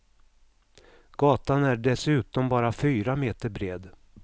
Gatan är dessutom bara fyra meter bred.